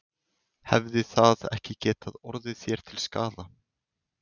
Hefði það ekki getað orðið þér til skaða?